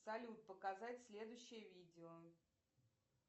салют показать следующее видео